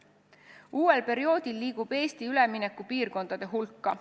Uuel perioodil liigub Eesti üleminekupiirkondade hulka.